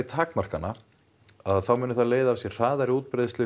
takmarkana muni það leiða af sér hraðari útbreiðslu